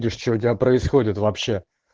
миш что у тебя происходит вообще